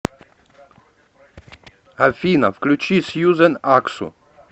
афина включи сьюзен аксу